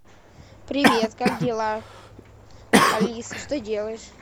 привет как дела алиса что делаешь